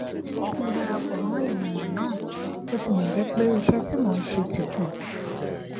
mo dara pò mó ìgbìmò náà bó tilè jé pé iṣé tí mò ń ṣe ti pò jù